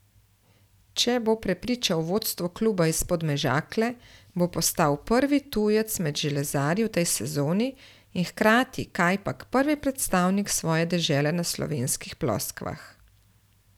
Če bo prepričal vodstvo kluba iz Podmežakle, bo postal prvi tujec med železarji v tej sezoni in hkrati kajpak prvi predstavnik svoje dežele na slovenskih ploskvah.